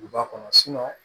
U ba kɔnɔ